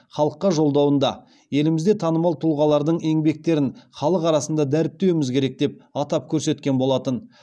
халыққа жолдауында елімізде танымал тұлғалардың еңбектерін халық арасында дәріптеуіміз керек деп атап көрсеткен болатын